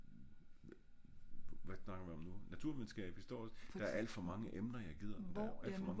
hvad snakker vi om nu? naturvidenskab historisk der er alt for mange emner jeg gider der er alt for mange emner der er sjove